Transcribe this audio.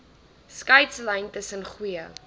skeidslyn tussen goeie